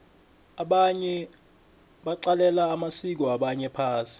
abanye baqalela amasiko wabanye phasi